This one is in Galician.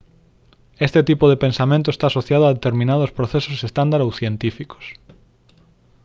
este tipo de pensamento está asociado a determinados procesos estándar ou científicos